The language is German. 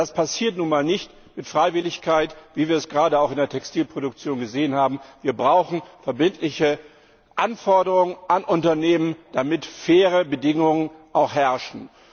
Das passiert nun mal nicht mit Freiwilligkeit, wie wir es gerade auch in der Textilproduktion gesehen haben. Wir brauchen verbindliche Anforderungen an Unternehmen, damit auch faire Bedingungen herrschen.